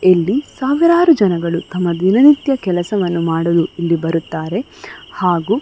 ಇಲ್ಲಿ ಸಾವಿರಾರು ಜನಗಳು ತಮ ದಿನನಿತ್ಯ ಕೆಲಸ ಮಾಡಲು ಇಲ್ಲಿ ಬರುತಾರೆ ಹಾಗು --